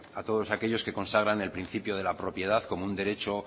a todos aquellos que consagran el principio de la propiedad como un derecho